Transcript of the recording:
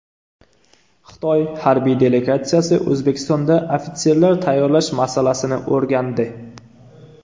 Xitoy harbiy delegatsiyasi O‘zbekistonda ofitserlar tayyorlash masalasini o‘rgandi.